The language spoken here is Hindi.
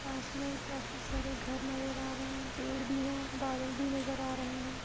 पास में काफी सारे घर नजर आ रहे हैं। पेड़ भी हैं बादल भी नजर आ रहे हैं।